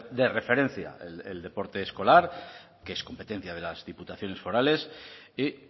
de referencia el deporte escolar que es competencia de las diputaciones forales y